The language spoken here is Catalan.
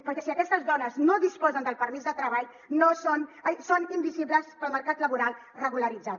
perquè si aquestes dones no disposen del permís de treball són invisibles per al mercat laboral regularitzat